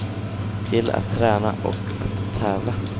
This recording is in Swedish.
Till att träna och att tävla.